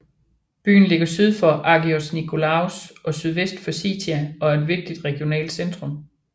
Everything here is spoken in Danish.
Byen ligger syd for Agios Nikolaos og sydvest for Sitia og er et vigtigt regionalt centrum